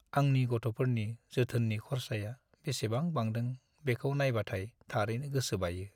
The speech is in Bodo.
आंनि गथ'फोरनि जोथोननि खर्साया बेसेबां बांदों बेखौ नायबाथाय थारैनो गोसो बायो।